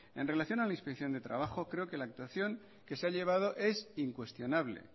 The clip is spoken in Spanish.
en relación a la inspección de trabajo creo que la situación que se ha llevado es incuestionable